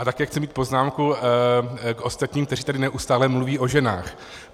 A také chci říct poznámku k ostatním, kteří tady neustále mluví o ženách.